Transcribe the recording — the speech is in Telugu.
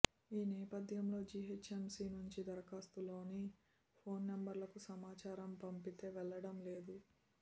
ఈ నేపథ్యంలో జీహెచ్ఎంసీ నుంచి దరఖాస్తులోని ఫోన్ నంబర్లకు సమాచారం పంపితే వెళ్లడం లేదు